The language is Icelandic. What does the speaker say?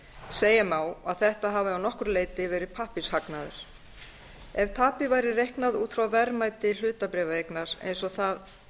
segja má að þetta hafi að nokkru leyti verið pappírshagnaður ef tapið væri reiknað út frá verðmæti hlutabréfaeignar eins og það